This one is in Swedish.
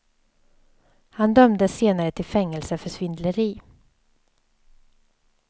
Han dömdes senare till fängelse för svindleri.